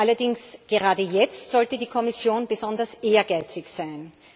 Allerdings, gerade jetzt sollte die Kommission besonders ehrgeizig sein.